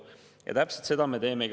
Ja täpselt seda me teemegi.